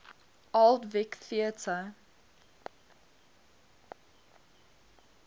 old vic theatre